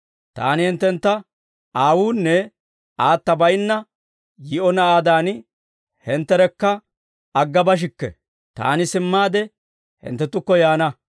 «Taani hinttentta aawuunne aata baynna yii'o naanaadan hintterekka aggabashikke; Taani simmaade hinttenttukko yaana.